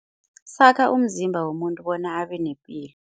Sakha umzimba womuntu bona abenepilo.